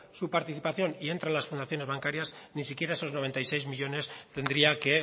su participación y entran las fundaciones bancarias ni siquiera esos noventa y seis millónes tendría que